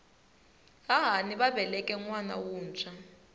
hahani va veleke nwana wuntshwa